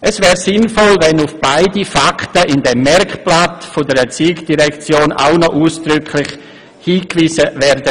Es wäre sinnvoll, wenn in dem Merkblatt der ERZ auch noch auf beide Fakten ausdrücklich hingewiesen würde.